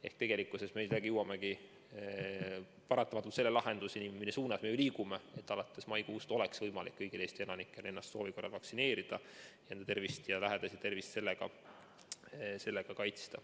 Ehk tegelikkuses me jõuamegi paratamatult selle lahenduseni, mille suunas me ju liigume, et alates maikuust oleks võimalik kõigil Eesti elanikel ennast soovi korral vaktsineerida ning oma ja lähedaste tervist sellega kaitsta.